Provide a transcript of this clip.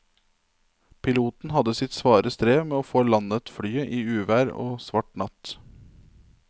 Piloten hadde sitt svare strev med å få landet flyet i uvær og svart natt.